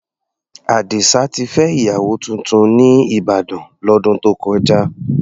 Àdìsá ti fẹ́ ìyàwó tuntun ní Ìbàdàn, lọ́dún tó kọjá.